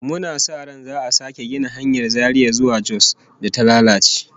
Muna sa ran za'a sake gina hanyar Zaria zuwa Jos da ta lalace